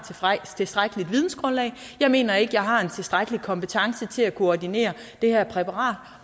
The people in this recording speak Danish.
tilstrækkeligt vidensgrundlag jeg mener ikke at jeg har en tilstrækkelig kompetence til at kunne ordinere det her præparat